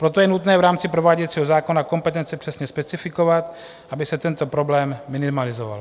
Proto je nutné v rámci prováděcího zákona kompetence přesně specifikovat, aby se tento problém minimalizoval.